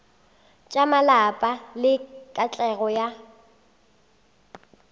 tša malapa le katlego ya